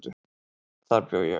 Þar bjó ég.